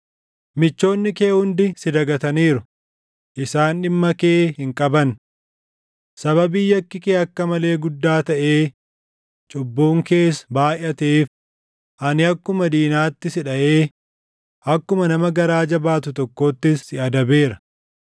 Michoonni kee hundi si dagataniiru; isaan dhimma kee hin qaban. Sababii yakki kee akka malee guddaa taʼee cubbuun kees baayʼateef ani akkuma diinaatti si dhaʼee akkuma nama garaa jabaatu tokkoottis si adabeera.